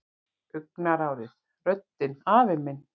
Augnaráðið, röddin afi minn.